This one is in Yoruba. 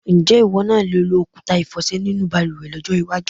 Ǹjé̩ ìwó̩ náà le lo òkúta ìfò̩sè̩ nínú balùwè̩ ló̩jó̩ iwájú?